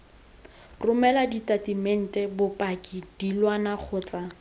romela ditatamente bopaki dilwana kgotsa